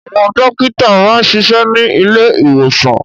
Àwọn dókítà máa ń ṣiṣẹ́ ní ilé ìwòsàn